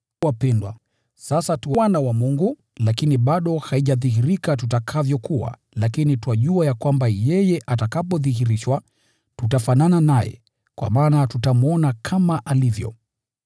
Wapendwa, sasa tu wana wa Mungu, lakini bado haijadhihirika tutakavyokuwa, lakini twajua ya kwamba yeye atakapodhihirishwa, tutafanana naye, kwa maana tutamwona kama alivyo.